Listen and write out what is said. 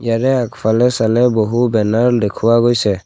ইয়াৰে আগফালে চালে বহু বেনাৰ দেখুওৱা গৈছে।